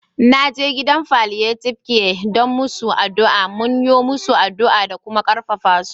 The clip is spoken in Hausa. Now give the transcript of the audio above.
Na je gidan palliative care da masun aduwa, mun yo musu aduwa da kuma karfafa su.